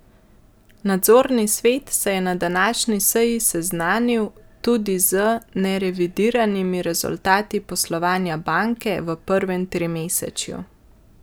Nadzorni svet se je na današnji seji seznanil tudi z nerevidiranimi rezultati poslovanja banke v prvem trimesečju.